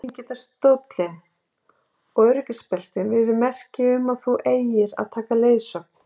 Einnig geta stóllinn og öryggisbeltin verið merki um að þú eigir að taka leiðsögn.